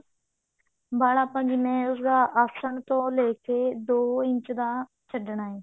ਵਲ ਆਪਾਂ ਆਸਣ ਤੋਂ ਲੈਕੇ ਦੋ ਇੰਚ ਦਾ ਛੱਡਣਾ ਹੈ